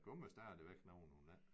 Der kommer stadigvæk nogen hun ikke